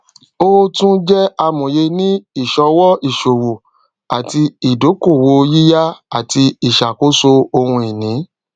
ó tún jẹ amòye ní ìṣọwọ ìṣòwò àti ìdókòwòyíyá àti ìṣàkóso ohun ìní